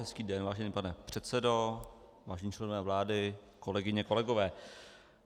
Hezký den, vážený pane předsedo, vážení členové vlády, kolegyně, kolegové.